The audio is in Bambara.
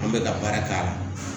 An bɛ ka baara k'a la